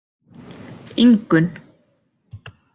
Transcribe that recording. Ingunn